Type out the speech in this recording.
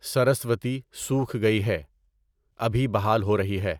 سرسوتی سوکھ گئی ہے، ابھی بحال ہو رہی ہے